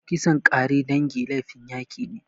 Kisan ƙare dangi laifin yaki ne.